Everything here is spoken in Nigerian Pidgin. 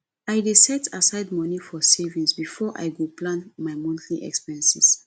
i dey set aside money for savings before i go plan my monthly expenses